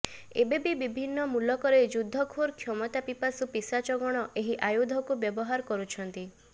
ଏବେବି ବିଭିନ୍ନ ମୁଲକରେ ଯୁଦ୍ଧଖୋର କ୍ଷମତାପିପାସୁ ପିଶାଚଗଣ ଏହି ଆୟୁଧକୁ ବ୍ୟବହାର କରୁଛନ୍ତି